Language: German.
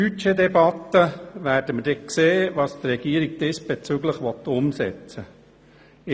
In der Budgetdebatte werden wir sehen, was die Regierung diesbezüglich umsetzen will.